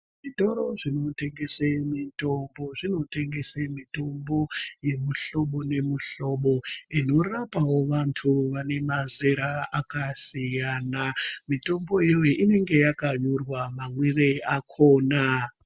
Zvitoro zvinotengese mitombo zvinotengese mitombo yemihlobo nemihlobo inorapawo vantu vane mazera akasiyana, mitombo iyoyo inenge yakanyorwa mamwire akona.